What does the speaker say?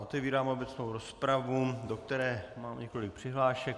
Otevírám obecnou rozpravu, do které mám několik přihlášek.